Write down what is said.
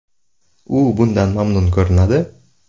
U bundan mamnun ko‘rinadi”.